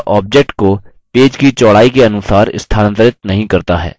यह object को page की चौड़ाई के अनुसार स्थानांतरित नहीं करता है